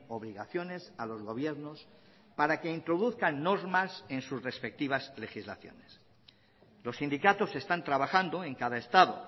obligaciones a los gobiernos para que introduzcan normas en sus respectivas legislaciones los sindicatos están trabajando en cada estado